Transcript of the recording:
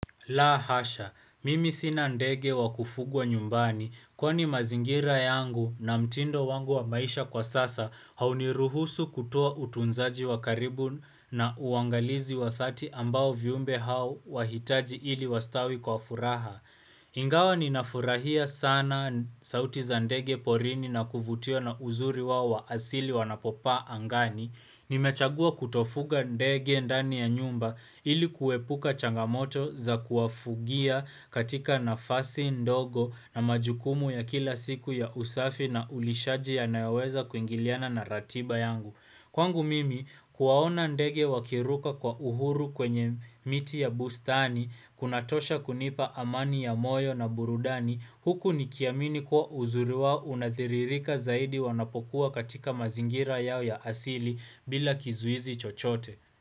La hasha, mimi sina ndege wa kufugwa nyumbani kwani mazingira yangu na mtindo wangu wa maisha kwa sasa hauniruhusu kutua utunzaji wa karibu na uangalizi wa dhati ambao viumbe hao wahitaji ili wastawi kwa furaha. Ingawa ninafurahia sana sauti za ndege porini na kuvutiwa na uzuri wao wa asili wanapopaa angani. Nimechagua kutofuga ndege ndani ya nyumba ilikuepuka changamoto za kuwafugia katika nafasi ndogo na majukumu ya kila siku ya usafi na ulishaji yanayoweza kuingiliana na ratiba yangu. Kwangu mimi kuwaona ndege wakiruka kwa uhuru kwenye miti ya bustani, kunatosha kunipa amani ya moyo na burudani, huku nikiamini kuwa uzuri wao unadhiririka zaidi wanapokuwa katika mazingira yao ya asili bila kizuizi chochote.